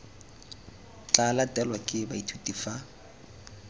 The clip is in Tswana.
tla latelwang ke baithuti fa